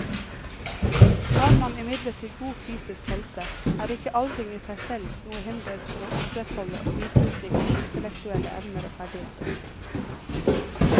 Har man imidlertid god fysisk helse, er ikke aldring i seg selv noe hinder for å opprettholde og videreutvikle intellektuelle evner og ferdigheter.